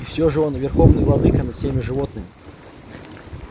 и всё же он верховный владыка над всеми животными